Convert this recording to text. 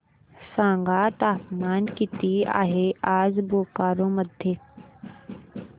सांगा तापमान किती आहे आज बोकारो मध्ये